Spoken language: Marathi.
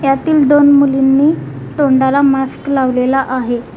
यातील दोन मुलींनी तोंडाला मास्क लावलेला आहे.